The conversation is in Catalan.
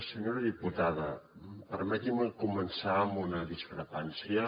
senyora diputada permeti’m començar amb una discrepància